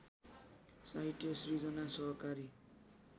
साहित्य सिर्जना सहकारी